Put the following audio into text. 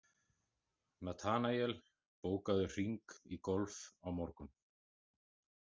Natanael, bókaðu hring í golf á mánudaginn.